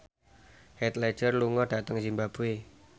Heath Ledger lunga dhateng zimbabwe